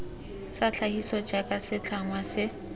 sa tlhagiso jaaka setlhangwa se